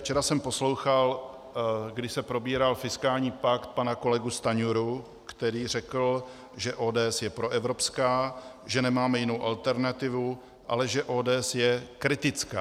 Včera jsem poslouchal, když se probíral fiskální pakt, pana kolegu Stanjuru, který řekl, že ODS je proevropská, že nemáme jinou alternativu, ale že ODS je kritická.